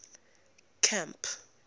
camp